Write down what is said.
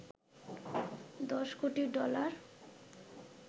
দশ কোটি ডলার